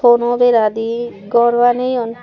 tono bera di gor baneyoun.